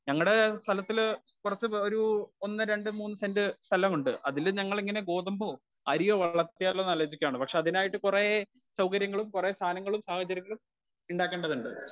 Speaker 1 ഞങളുടെ സ്ഥലത്തില് കുറച്ചു ഒരു ഒന്ന് രണ്ടു മൂന്നു സെന്റ് സ്ഥലമുണ്ട് അതിൽ ഞങൾ ഇങ്ങനെ ഗോതമ്പോ, അരിയോ വളർത്തിയാലോന്നു ആലോചിക്കുവാണ് പക്ഷെ അതിനായിട്ടു കൊറേ സൗകര്യങ്ങളും സാധനങ്ങളും സാഹചര്യങ്ങളും ഉണ്ടാക്കേണ്ടതുണ്ട്.